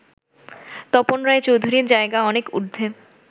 তপন রায়চৌধুরীর জায়গা অনেক ঊর্ধ্বে